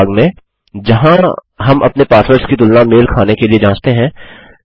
उस भाग में जहाँ हम अपने पासवर्ड्स की तुलना मेल खाने के लिए जाँचते हैं